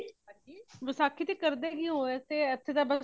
ਵਸਾਖ਼ੀ ਤੇ ਕਰਦੇ ਕਿ ਹੋ ਏਥੇ ਤੇ ਬੱਸ